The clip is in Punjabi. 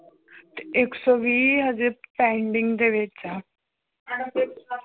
ਇੱਕ ਸੌ ਵੀਹ ਹਜੇ ਪੈਂਡਿੰਗ ਦੇ ਵਿਚ ਆ